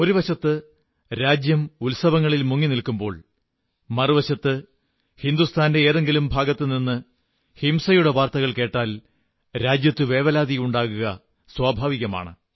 ഒരു വശത്ത് രാജ്യം ഉത്സവങ്ങളിൽ മുങ്ങിനിൽക്കുമ്പോൾ മറുവശത്ത് ഹിന്ദുസ്ഥാന്റെ ഏതെങ്കിലും ഭാഗത്തുനിന്ന് ഹിംസയുടെ വാർത്തകൾ കേട്ടാൽ രാജ്യത്ത് വേവലാതിയുണ്ടാവുക സ്വഭാവികമാണ്